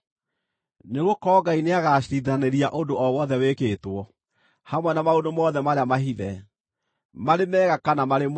Nĩgũkorwo Ngai nĩagaciirithanĩria ũndũ o wothe wĩkĩtwo, hamwe na maũndũ mothe marĩa mahithe, marĩ mega kana marĩ mooru.